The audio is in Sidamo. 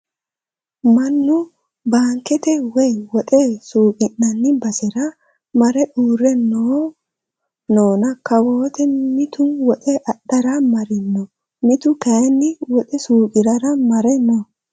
Mannu baankete woyi woxe suuqi'nanni basera mare uurre noona kawoote mitu woxe adhara Marino. Mitu kayii woxe suuqirara mare no.